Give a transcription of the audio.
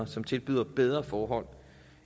som tilbyder bedre forhold